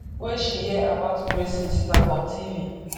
wey she hear about braces na for tv